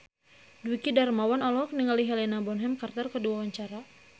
Dwiki Darmawan olohok ningali Helena Bonham Carter keur diwawancara